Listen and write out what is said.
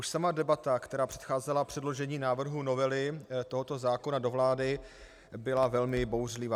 Už sama debata, která předcházela předložení návrhu novely tohoto zákona do vlády, byla velmi bouřlivá.